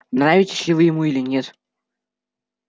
нравитесь ли вы ему или нет